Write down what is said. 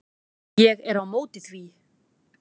Ég er á móti því.